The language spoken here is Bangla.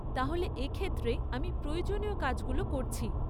তাহলে, এ ক্ষেত্রে আমি প্রয়োজনীয় কাজগুলো করছি।